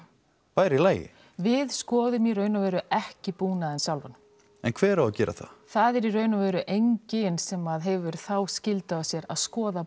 væri í lagi við skoðum í raun og veru ekki búnaðinn sjálfann en hver á að gera það það er í raun og veru enginn sem hefur þá skyldu á sér að skoða